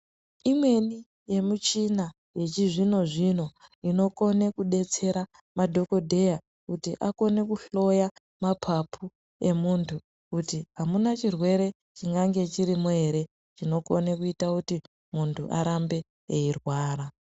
Imweni yemichina yechizvino zvino inokone kudetsera madhokodheya kuti akone kuhloya mapapu emuntu kuti amuna chirwere chingange chirimo ere chinokone kuita kuti muntu arambe eirwara.